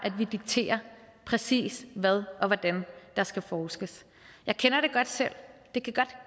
vi dikterer præcis hvad og hvordan der skal forskes jeg kender det godt selv det kan godt